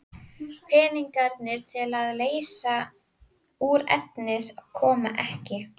Peningarnir til að leysa út efnið koma ekki.